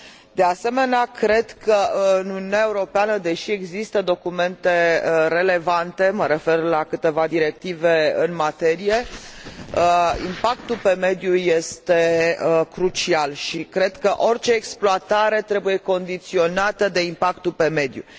De asemenea, cred că, în Uniunea Europeană, deși există documente relevante, mă refer la câteva directive în materie, impactul asupra mediului este crucial și cred că orice exploatare trebuie condiționată de impactul asupra mediului.